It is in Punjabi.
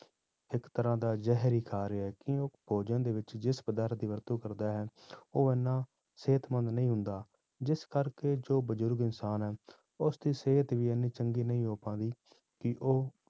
ਇੱਕ ਤਰ੍ਹਾਂ ਦਾ ਜ਼ਹਿਰ ਹੀ ਖਾ ਰਿਹਾ ਕਿ ਉਹ ਭੋਜਨ ਦੇ ਵਿੱਚ ਜਿਸ ਪਦਾਰਥ ਦੀ ਵਰਤੋਂ ਕਰਦਾ ਹੈ ਉਹ ਇੰਨਾ ਸਿਹਤਮੰਦ ਨਹੀਂ ਹੁੰਦਾ, ਜਿਸ ਕਰਕੇ ਜੋ ਬਜ਼ੁਰਗ ਇਨਸਾਨ ਹੈ ਉਸਦੀ ਸਿਹਤ ਵੀ ਇੰਨੀ ਚੰਗੀ ਨਹੀਂ ਹੋ ਪਾਉਂਦੀ ਕਿ ਉਹ